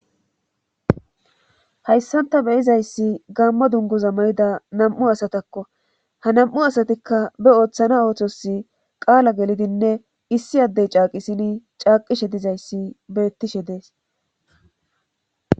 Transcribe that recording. hayssanta beyizayssi gammo dungoza mayida nam7u asatakko ha nam7u asatikka be ooththana oothos qaala gelidinne issi addey caaqisini caaqishe dizayssi beettishe dees